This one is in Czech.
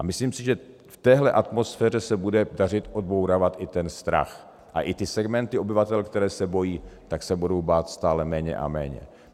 A myslím si, že v téhle atmosféře se bude dařit odbourávat i ten strach a i ty segmenty obyvatel, které se bojí, tak se budou bát stále méně a méně.